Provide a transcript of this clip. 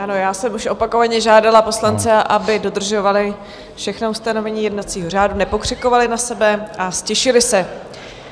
Ano, já jsem už opakovaně žádala poslance, aby dodržovali všechna ustanovení jednacího řádu, nepokřikovali na sebe a ztišili se.